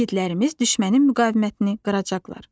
İgidlərimiz düşmənin müqavimətini qıracaqlar.